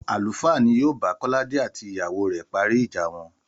Àlùfáà ni yóò bá Kọ́ládé àti ìyàwó rẹ̀ parí ìjà wọn